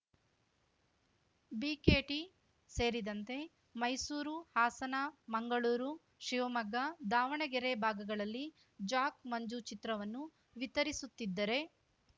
BKT ಸೇರಿದಂತೆ ಮೈಸೂರು ಹಾಸನ ಮಂಗಳೂರು ಶಿವಮೊಗ್ಗ ದಾವಣಗೆರೆ ಭಾಗಗಳಲ್ಲಿ Jack Manju ಚಿತ್ರವನ್ನು ವಿತರಿಸುತ್ತಿದ್ದರೆ